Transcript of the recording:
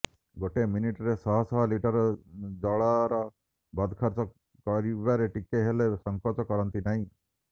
ଗୋଟେ ମିନିଟରେ ଶହ ଶହ ଲିଟର ଜଳର ବଦ ଖର୍ଚ୍ଚ କରିବାରେ ଟିକେ ହେଲେ ସଂକୋଚ କରନ୍ତି ନାହିଁ